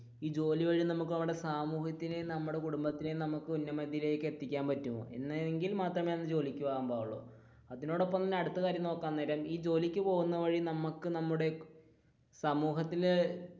ഈ ജോലി വഴി നമുക്ക് സമൂഹത്തിനു, നമ്മുടെ കുടുംബത്തിന് നമുക്ക് ഉന്നമതിയിലേക്ക് എത്തിക്കാൻ പറ്റുമോ അങ്ങനെയാണെങ്കിൽ മാത്രമേ ജോലിക്ക് പോകുവാൻ പാടുള്ളു അതിനോടൊപ്പം അടുത്ത കാര്യം നോക്കാൻ നേരം ജോലിക്ക് പോകുന്ന വഴി, നമുക്ക് നമ്മുടെ സമൂഹത്തിന്റെ